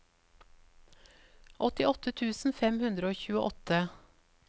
åttiåtte tusen fem hundre og tjueåtte